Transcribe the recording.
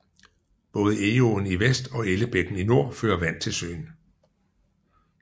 Både Egåen i vest og Ellebækken i nord fører vand til søen